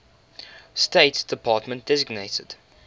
state department designated